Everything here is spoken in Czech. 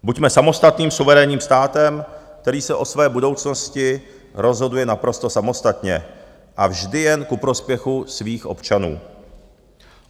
Buďme samostatným, suverénním státem, který se o své budoucnosti rozhoduje naprosto samostatně a vždy jen ku prospěchu svých občanů.